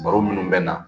Baro minnu bɛ na